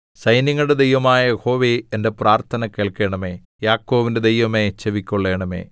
സൈന്യങ്ങളുടെ ദൈവമായ യഹോവേ എന്റെ പ്രാർത്ഥന കേൾക്കണമേ യാക്കോബിന്റെ ദൈവമേ ചെവിക്കൊള്ളണമേ സേലാ